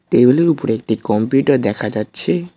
Table -এর উপরে একটি কম্পিউটার দেখা যাচ্ছে।